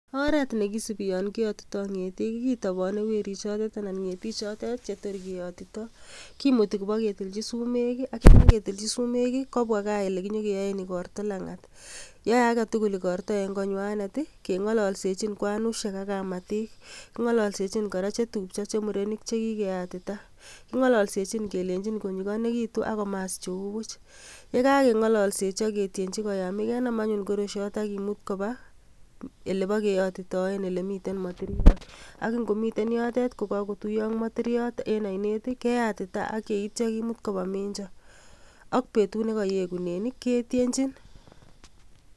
Oret ne kisubi yon kiyotito ng'etik ii, kitoboni werichotet anan ko ng'etik chotet che tor keyotito. Kimuti kebo ketilchi sumek, ak ye kagetilchi sumek kobwa gaa ole kinyokeyoen igorto lang'at. Yoe age tugul igorto en konywanet ii, ak keng'ololsejin kwanisiek ak kamatik. Kingololsejin kora che tupcho murenik che kigeyatita. King'ololsejin kelenjin konyigonegitun akkomas cheu buch. Ye kageng'ololseji koyam, kenam anyun koroshot ak kimut koba ele bo keyotitoen ele miten motiryot. Ak ingomiten yotet kogakotuiyo ak motiryot en oinet ii keyatita ak yeityo kimut koba menjo. Ak betut ne koyegunen ii ketyenjin.